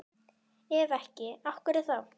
Ef ekki, af hverju þá?